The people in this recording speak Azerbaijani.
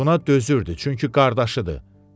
Buna dözürdü, çünki qardaşıdır.